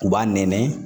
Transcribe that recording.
U b'a nɛɛmɛ